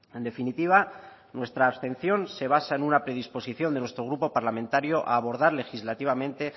en definitiva nuestra abstención se basa en una predisposición de nuestro grupo parlamentario a abordar legislativamente